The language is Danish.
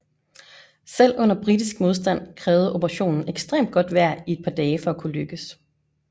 Selv uden britisk modstand krævede operationen ekstremt godt vejr i et par dage for at kunne lykkes